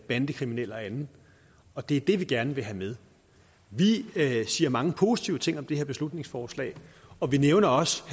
bandekriminelle og andet og det er det vi gerne vil have med vi siger mange positive ting om det her beslutningsforslag og vi nævner også